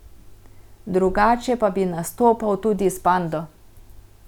Drugače pa bi nastopal tudi s Pando.